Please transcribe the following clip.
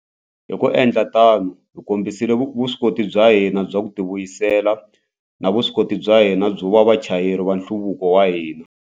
Hi ku endla tano, hi kombisile vuswikoti bya hina bya ku tivuyisela na vuswikoti bya hina byo va vachayeri va nhluvuko wa hina.